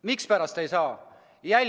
Mispärast ei saa?